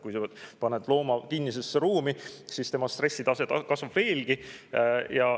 Kui sa paned looma kinnisesse ruumi, siis tema stressitase kasvab veelgi.